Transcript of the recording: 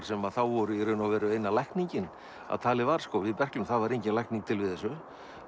sem þá voru í raun eina lækningin að talið var við berklum það var engin lækning til við þessu